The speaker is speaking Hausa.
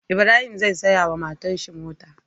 Ibrahim zai siya wa matar shi mota